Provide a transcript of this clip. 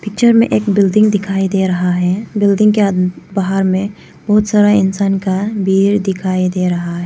Picture में एक building दिखाई दे रहा है बिल्डिंग के अन् बाहर में बहोत सारा इंसान का भीड़ दिखाई दे रहा है।